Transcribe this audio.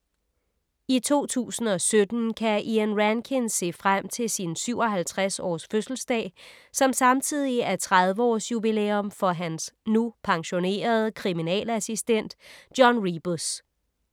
I 2017 kan Ian Rankin se frem til sin 57 års fødselsdag, som samtidig er 30-års jubilæum for hans, nu pensionerede, kriminalassistent John Rebus.